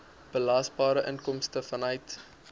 belasbare inkomste vanuit